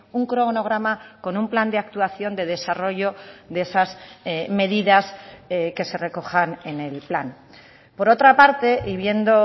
un cronograma con un plan de actuación de desarrollo de esas medidas que se recojan en el plan por otra parte y viendo